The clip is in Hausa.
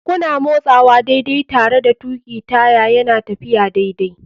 Kuna motsawa daidai tare da tuƙi taya yana tafiya daidai.